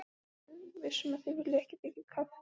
Ertu viss um að þið viljið ekki þiggja kaffi?